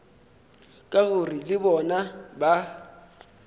ka gore le bona ba